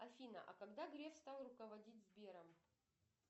афина а когда греф стал руководить сбером